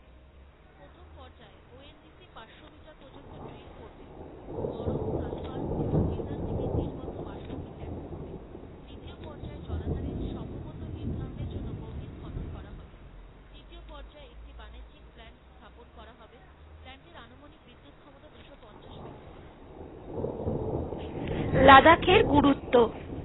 লাদাখের গুরুত্ব,